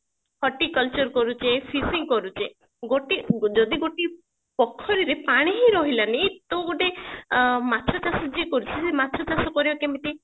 କରୁଛେ କରୁଛେ ଗୋଟି ଯଦି ଗୋଟିଏ ପୋଖରୀରେ ପାଣି ହିଁ ରହିଲାନି ତ ଗୋଟେ ଅ ମାଛ ଚାଷ ଯିଏ କରୁଛି ସିଏ ମାଛ ଚାଷ କରିବ କେମତି